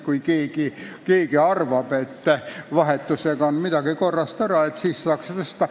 Kui keegi arvab, et vahetusega on midagi korrast ära, siis saaks tõsta.